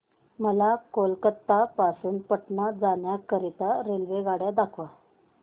मला कोलकता पासून पटणा जाण्या करीता रेल्वेगाड्या दाखवा